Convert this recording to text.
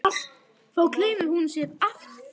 Þá gleymir hún sér alltaf.